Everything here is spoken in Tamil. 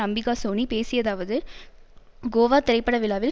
அம்பிகாசோனி பேசியதாவது கோவா திரைப்படவிழாவில்